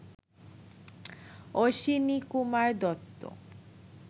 Ashwinikumar Dutta